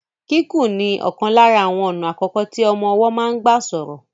Kíkùn ni ọ̀kan lára àwọn ọ̀nà àkọ́kọ́ tí ọmọ ọwọ́ máa ń gbà sọ̀rọ̀.